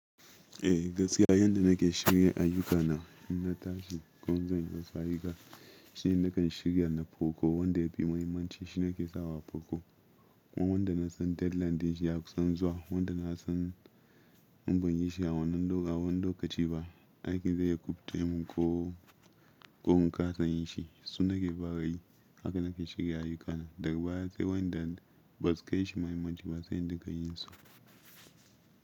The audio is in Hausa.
Eh gaskiya yanda nake shirya ayuka na in na tashi, komai zan yi wasu ayuka shi nakan shirya na poko. Wanda ya fi muhimmanci shine nake sawa a poko. Kuma wanda na san deadline din shi ya kusan zuwa, wanda na san in banyi shi a wannan lo- a wannan lokaci ba aiki zai yi kubɗe mu ko, ko mu kasa yin shi su nake fa ra yi. Haka nake shirya ayyuka na. Daga baya sai wa'inda ba su kai shi mahimmanci ba sai in duka yin su.